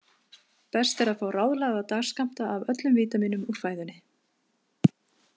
Best er að fá ráðlagða dagskammta af öllum vítamínum úr fæðunni.